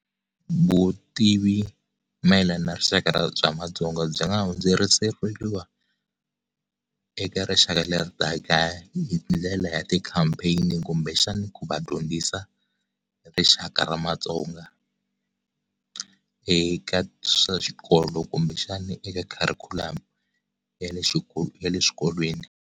Vutivi mayelana na rixaka ra bya matsonga byi nga hundzelerisiwa eka rixaka leri taka hi ndlela ya ti-campaign kumbe xani ku va dyondzisa rixaka ra matsonga eka swa xikolo kumbe xana eka curriculum ya le ya le le swikolweni.